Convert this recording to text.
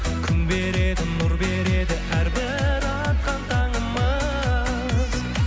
күн береді нұр береді әрбір атқан таңымыз